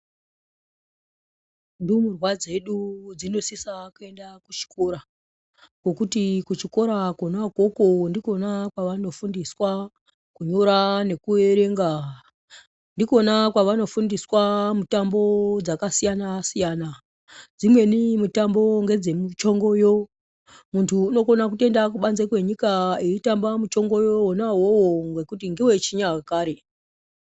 Ndumurwa dzedu dzinosisa kuenda kuchikora ngokuti kuchikora kona ikoko ndikona kwavano fundiswa kunyora nekuerenga ndikona kwava nofundiswa mitambo dzakasiyana siyana dzimweni mitambo ngedze muchingoyo muntu unotokona kutoenda kubanze kwenyika achitamba muchingoyo wona iwowo ngekuti ngewechinya kare.